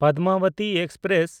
Padmavati express